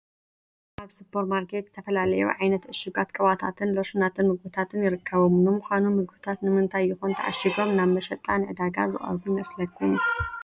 ኣብዚ ሱፐር ማርኬት ዝተፈላለዩ ዓይነት ዕሹጋት ቅብኣታትን ሎሽናትን ምግብታትን ይርከቡ፡፡ ንምዃኑ ምግብታት ንምንታይ ይኾን ተዓሺጎም ናብ መሸጣ ንድዳጋ ዝቀርቡ ይመስለኹም?